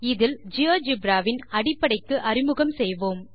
இதில் ஜியோஜெப்ரா வின் அடிப்படைக்கு அறிமுகம் செய்வோம்